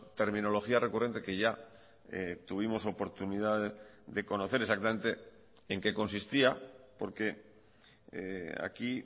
terminología recurrente que ya tuvimos oportunidad de conocer exactamente en qué consistía porque aquí